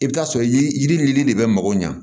I bɛ taa sɔrɔ yiri yiri ni yiri de bɛ mago ɲa